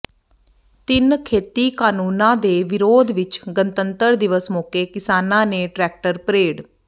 ਤਿੰਨ ਖੇਤੀ ਕਾਨੂੰਨਾਂ ਦੇ ਵਿਰੋਧ ਵਿਚ ਗਣਤੰਤਰ ਦਿਵਸ ਮੌਕੇ ਕਿਸਾਨਾਂ ਨੇ ਟ੍ਰੈਕਟਰ ਪਰੇਡ